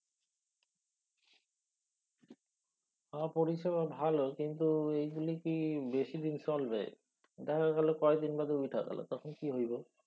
হ পরিষেবা ভালো কিন্তু এইগুলি কি বেশিদিন চলবে? দেখা গেলো কয়দিন বাদে উইথা গেলো। তখন? কি হইব?